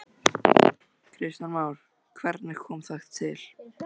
Kristján Már: Hvernig kom það til?